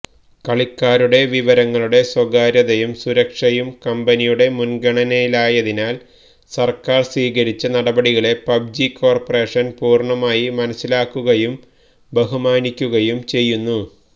കളിക്കാരുടെ വിവരങ്ങളുടെ സ്വകാര്യതയും സുരക്ഷയും കമ്പനിയുടെ മുന്ഗണനയായതിനാല് സര്ക്കാര് സ്വീകരിച്ച നടപടികളെ പബ്ജി കോര്പ്പറേഷന് പൂര്ണമായി മനസ്സിലാക്കുകയും ബഹുമാനിക്കുകയും ചെയ്യുന്നു